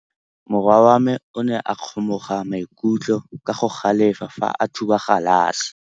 Morwa wa me o ne a kgomoga maikutlo ka go galefa fa a thuba galase.